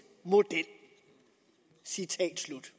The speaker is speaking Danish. model citat slut